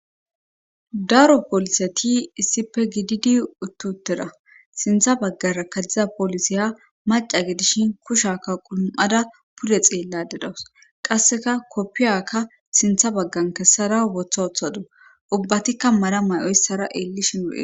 daro polise ti issipe gididi uttutera sintha baggara kadziza polisiya maca gidishin kushaka qulum7ada pure xeella dedawus qasseka koppiyakka sintha baggan kessara wotha othado ubbatikka mara may7oyssara eellishin ud